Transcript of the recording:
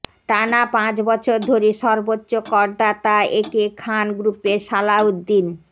টানা পাঁচ বছর ধরে সর্বোচ্চ করদাতা একে খান গ্রুপের সালাউদ্দিন